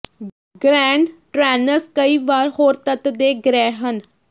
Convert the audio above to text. grand ਟਰੈਨਨਸ ਕਈ ਵਾਰ ਹੋਰ ਤੱਤ ਦੇ ਗ੍ਰਹਿ ਹਨ